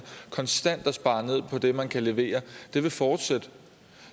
konstant at spare på det man kan levere vil fortsætte